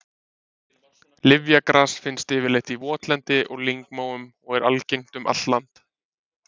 Lyfjagras finnst yfirleitt í votlendi og lyngmóum og er algengt um allt land.